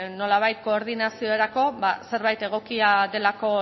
nolabait koordinaziorako ba zerbait egokia delako